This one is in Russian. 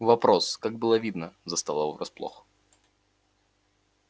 вопрос как было видно застал его врасплох